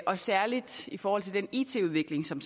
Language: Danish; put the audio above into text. og særlig i forhold til den it udvikling som